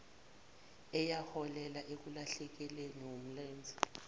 eyaholela ekulahlekelweni wumlenze